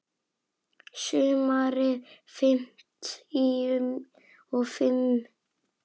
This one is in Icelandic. Sumarið fimmtíu og fimm.